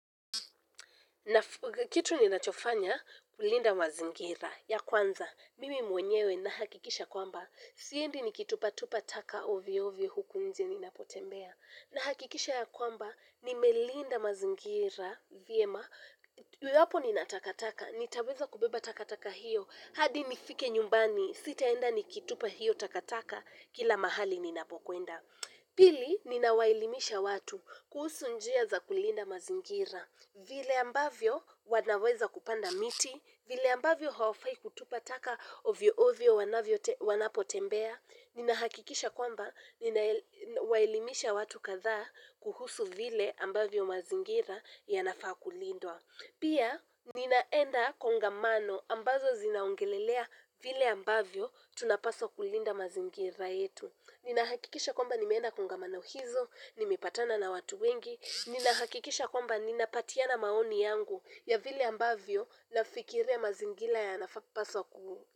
Na kitu ni nachofanya kulinda mazingira ya kwanza. Mimi mwenyewe na hakikisha kwamba. Siendi ni kitupa tupa taka ovyo ovyo huku nje nina potembea. Na hakikisha ya kwamba nimelinda mazingira vyema. Iwapo ninatakataka nitaweza kubeba takataka hiyo. Hadi nifike nyumbani. Sitaenda ni kitupa hiyo takataka kila mahali ni napokwenda. Pili ni nawaelimisha watu kuhusu njia za kulinda mazingira. Vile ambavyo wanaweza kupanda miti, vile ambavyo hawafai kutupa taka ovyo ovyo wanapotembea, ninahakikisha kwamba ninawaelimisha watu kadhaa kuhusu vile ambavyo mazingira yanafaa kulindwa. Pia, ninaenda kongamano ambazo zinaongelelea vile ambavyo tunapaswa kulinda mazingira yetu. Ninahakikisha kwamba nimeenda kongamano hizo, nimepatana na watu wengi. Ninahakikisha kwamba ninapatiana maoni yangu ya vile ambavyo na fikiria mazingira ya nafa paswa kuhu.